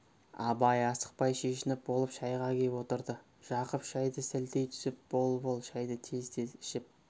абай асықпай шешініп болып шайға кеп отырды жақып шайды сілтей түсіп бол бол шайды тез-тез ішіп